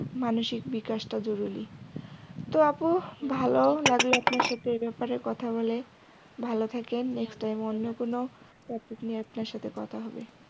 মানসিক বিকাশটা জরুরী তো আপু ভালো লাগলো আপনার সঙ্গে এই ব্যাপারে কথা বলে ভালো থাকেন next time অন্য কোন topic নিয়ে আপনার সাথে কথা হবে।